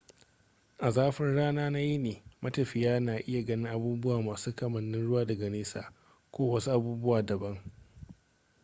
a zafin rana na yini matafiya na iya ganin abubuwa masu kamanin ruwa daga nesa ko wasu abubuwa dabam